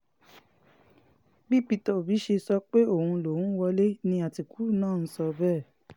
bí peter òbí ṣe ń sọ pé òun lòún wọlé ni àtìkù náà ń sọ bẹ́ẹ̀